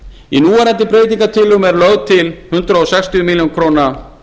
í núverandi breytingartillögum er lögð til hundrað sextíu milljónir króna